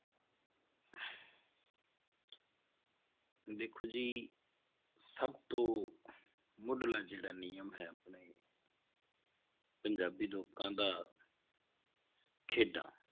ਦੇਖੋ ਜੀ ਸਭ ਤੋਂ ਮੁੱਢਲਾ ਜਿਹੜਾ ਨਿਯਮ ਹੈ ਆਪਣੇ ਪੰਜਾਬੀ ਲੋਕਾਂ ਦਾ ਖੇਡਾਂ